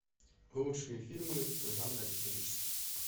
лучшие фильмы жанра исторический